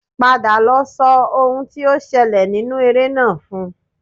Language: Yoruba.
Padà lọ sọ ohun tí ó ṣẹlẹ̀ nínú eré náà fún un